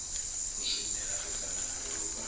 zwimela u fana na vhuvha